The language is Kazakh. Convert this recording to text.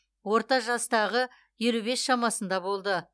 орта жастағы елу бес шамасында болды